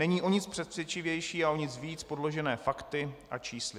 Není o nic přesvědčivější a o nic víc podložené fakty a čísly.